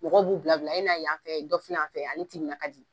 Mɔgɔw b'u bila bila , a na yan fɛ yen, dɔ filɛ yan fɛ yen ,ale timinankadi!